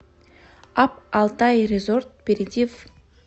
апп алтай резорт перейди в